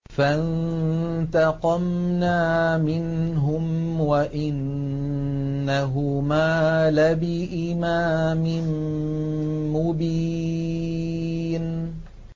فَانتَقَمْنَا مِنْهُمْ وَإِنَّهُمَا لَبِإِمَامٍ مُّبِينٍ